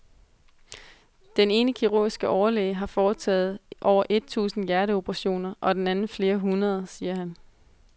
Den ene kirurgiske overlæge har foretaget over et tusind hjerteoperationer og den anden flere hundrede, siger han.